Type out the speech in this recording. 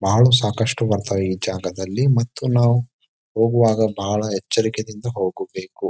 ಬಹಳ ಸಾಕಷ್ಟು ಬರತ್ವ್ ಈ ಜಾಗದಲ್ಲಿ ಮತ್ತು ನಾವು ಹೋಗುವಾಗ ಬಹಳ ಎಚ್ಚರಿಕೆದಿಂದ ಹೋಗಬೇಕು.